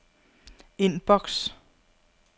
indboks